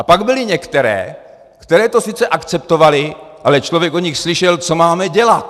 A pak byly některé, které to sice akceptovaly, ale člověk od nich slyšel: Co máme dělat?